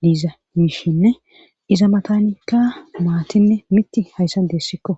diiza miishinne iza matanikka maatinne mitti hayssa deessikko.